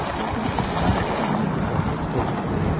Acho que eu me realizo com essas coisas todas.